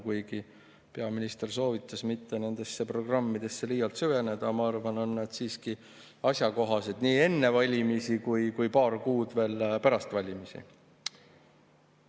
Kuigi peaminister soovitas mitte nendesse programmidesse liialt süveneda, mina arvan, et nad on siiski asjakohased nii enne valimisi kui ka veel paar kuud pärast valimisi.